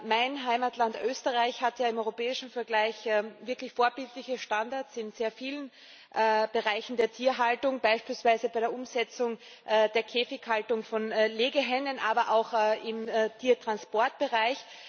Mein Heimatland Österreich hat im europäischen Vergleich wirklich vorbildliche Standards in sehr vielen Bereichen der Tierhaltung, beispielsweise bei der Umsetzung der Käfighaltung von Legehennen, aber auch im Tiertransportbereich.